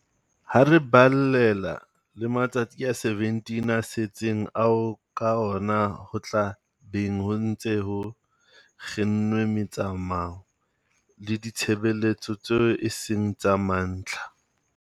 Ha re balella le matsatsi a 17 a setseng ao ka ona ho tla beng ho ntse ho kginnwe metsamao le ditshebeletso tseo e seng tsa mantlha.